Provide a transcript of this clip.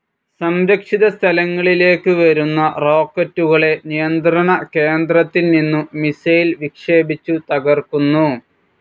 സംരക്ഷിത സ്ഥലങ്ങളിലേക്ക് വരുന്ന റോക്കറ്റുകളെ നിയന്ത്രണ കേന്ദ്രത്തിൽ നിന്നു മിസൈൽ വിക്ഷേപിച്ചു തകർക്കുന്നു.